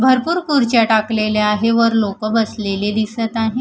भरपूर खुर्च्या टाकलेल्या आहे वर लोकं बसलेली दिसत आहे.